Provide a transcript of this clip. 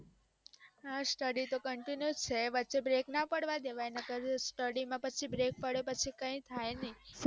હા study તો continue છે વચે break ના પાડવા દેવાય નકાર study માં પછી break પડે પછી કાય થય નાય